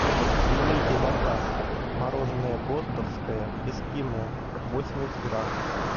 примите заказ мороженое гостовское эскимо восемьдесят грамм